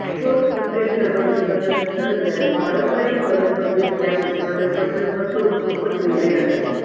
ठोस कृत्रिम दगड उत्पादन तंत्रज्ञान पारंपारिक फरसबंदी स्लॅब उत्पादन पद्धत पासून खूपच वेगळी आहे